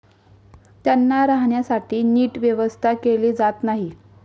त्यांना राहण्यासाठी नीट व्यवस्था केली जात नाही.